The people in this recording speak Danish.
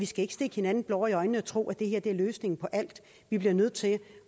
skal stikke hinanden blår i øjnene og tro at det her er løsningen på alt vi bliver nødt til